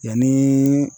Yanni